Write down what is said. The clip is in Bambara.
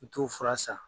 N t'o fura san